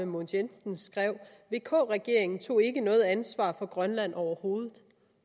mogens jensen skrev vk regeringen tog ikke noget ansvar for grønland overhovedet